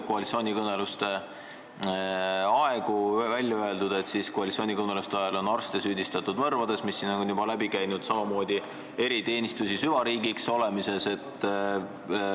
Koalitsioonikõneluste ajal on arste süüdistatud mõrvades – see teema on siin juba läbi käinud – ja eriteenistusi on nimetatud süvariigiks.